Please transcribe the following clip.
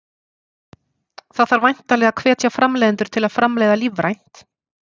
Það þarf væntanlega að hvetja framleiðendur til að framleiða lífrænt?